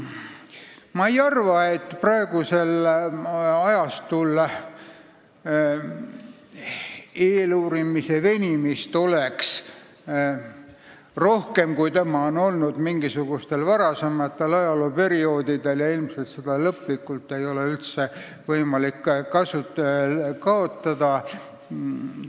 Ma ei arva, et praegusel ajastul oleks eeluurimise venimist rohkem, kui seda on olnud mingisugustel varasematel ajalooperioodidel, ja ilmselt ei ole võimalik seda lõplikult kaotada.